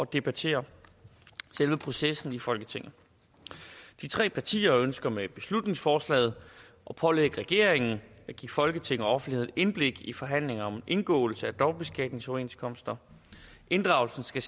debattere selve processen i folketinget de tre partier ønsker med beslutningsforslaget at pålægge regeringen at give folketinget og offentligheden indblik i forhandlinger om indgåelse af dobbeltbeskatningsoverenskomster inddragelsen skal